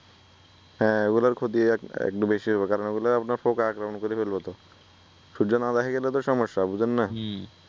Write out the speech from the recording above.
হ্যা অইগুলার ক্ষতি একটু বেশি হইবো কারণ এইগুলা আপনার পোকা আক্রমন করি ফালাবো তো সূর্য না দেখা গেলে তো সমস্যা বুঝেন না? হম